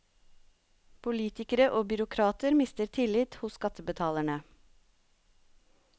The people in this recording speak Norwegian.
Politikere og byråkrater mister tillit hos skattebetalerne.